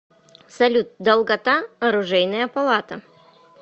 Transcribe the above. салют долгота оружейная палата